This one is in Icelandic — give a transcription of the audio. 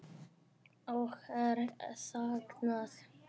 Og er saknað.